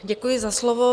Děkuji za slovo.